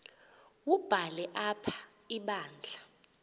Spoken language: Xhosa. wubhale apha ibandla